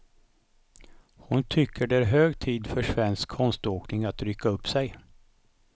Hon tycker det är hög tid för svensk konståkning att rycka upp sig.